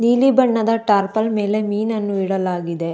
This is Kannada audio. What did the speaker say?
ನೀಲಿ ಬಣ್ಣದ ಟಾರ್ಪಲ್ ಮೇಲೆ ಮೀನನ್ನು ಇಡಲಾಗಿದೆ.